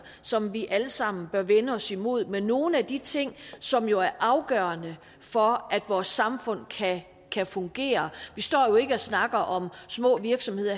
som vi alle sammen bør vende os mod med nogle af de ting som jo er afgørende for at vores samfund kan fungere vi står jo ikke og snakker om små virksomheder